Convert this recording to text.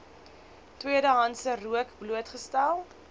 tweedehandse rook blootgestel